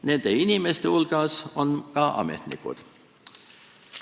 Nende inimeste hulgas on ka ametnikud.